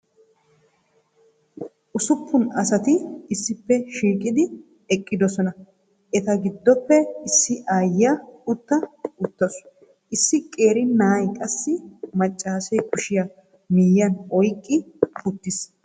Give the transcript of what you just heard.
Ussuppun asati issippe shiiqidi eqqidosona. Eta giddoppe issi aayiya utta uttaasu. Issi qeeri na'ay issi macaassee kushiya miyiyan oyqqi uttiis,